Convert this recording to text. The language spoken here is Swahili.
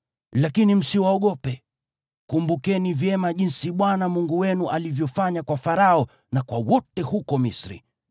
Lakini msiwaogope. Kumbukeni vyema jinsi Bwana Mungu wenu alivyofanya kwa Farao na kwa wote huko Misri.